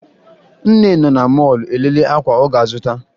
Nne nọ na mọọlụ elele akwa ọ ga-azụta